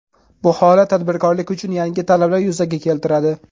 Bu holat tadbirkorlik uchun yangi talablar yuzaga keltiradi.